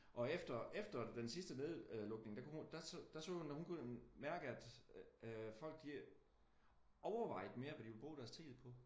Og efter efter den sidste nedlukning der kunne hun der så hun hun kunne mærke at at folk de overvejede mere hvad de ville bruge deres tid på